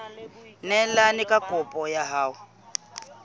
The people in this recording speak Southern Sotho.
neelane ka kopo ya hao